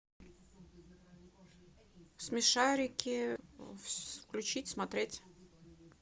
смешарики включить смотреть